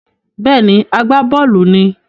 Bẹ́ẹ̀ni, agbábọ́ọ̀lù ni